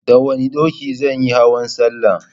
Da wanna dokin zanyi hauwan Sallah